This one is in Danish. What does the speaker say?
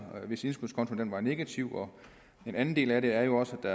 hvis indskudskontoen var negativ en anden del af det er jo også at